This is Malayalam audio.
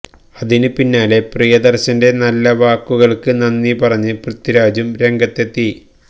അതിന് പിന്നാലെ പ്രിയദര്ശന്റെ നല്ല വാക്കുകള്ക്ക് നന്ദി പറഞ്ഞ് പൃഥ്വിരാജും രംഗത്തെത്തി